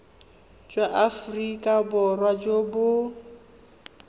jwa aforika borwa jo bo